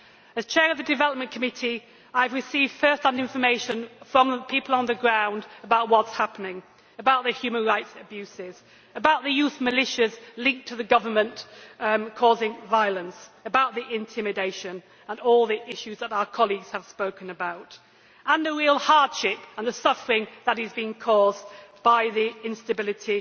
As chair of the Committee on Development, I have received first hand information from people on the ground about what is happening about the human rights abuses, about the youth militias linked to the government which are causing violence, about the intimidation and all the issues that our colleagues have spoken about, and about the real hardship and the suffering that is being caused by the instability